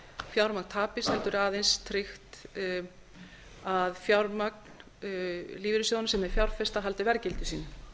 fjármagn tapist heldur aðeins tryggt að fjármagn lífeyrissjóðanna sem þeir fjárfesta haldi verðgildi sínu